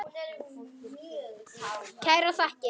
Kærar þakkir